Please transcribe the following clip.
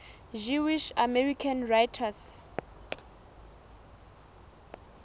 jewish american writers